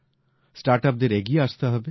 স্টার্টআপদেরও এগিয়ে আসতে হবে